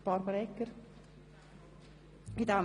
– Das ist nicht der Fall.